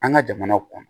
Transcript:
An ka jamana kɔnɔ